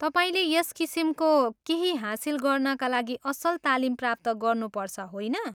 तपाईँले यस किसिमको केही हासिल गर्नाका लागि असल तालिम प्राप्त गर्नुपर्छ, होइन?